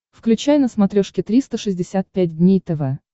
включай на смотрешке триста шестьдесят пять дней тв